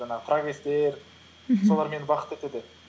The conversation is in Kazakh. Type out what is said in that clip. жаңағы прогресстер мхм солар мені бақытты етеді